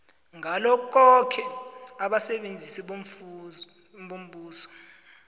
ngalokhoke abasebenzi bombuso